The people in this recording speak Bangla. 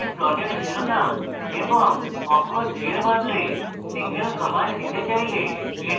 আপনি প্লটের শিরোনাম এবং অক্ষ 3 এর বদলে single command দিয়ে চান তাহলে